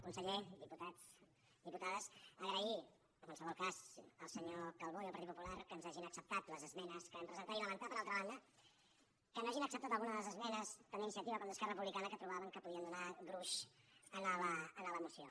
conseller diputats diputades agrair en qualsevol cas al senyor calbó i al partit popular que ens hagin acceptat les esmenes que vam presentar i lamentar per altra banda que no hagin acceptat algunes de les esmenes tant d’iniciativa com d’esquerra republicana que trobàvem que podien donar gruix a la moció